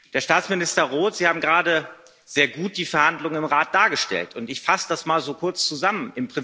Herr Staatsminister Roth, Sie haben gerade sehr gut die Verhandlungen im Rat dargestellt, und ich fasse das mal kurz zusammen.